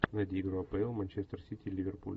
найди игру апл манчестер сити ливерпуль